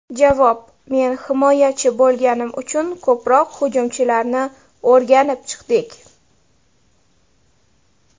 Javob: Men himoyachi bo‘lganim uchun ko‘proq hujumchilarni o‘rganib chiqdik.